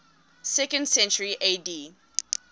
second century ad